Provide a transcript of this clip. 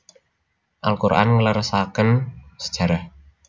Al Quran ngleresaken sejarah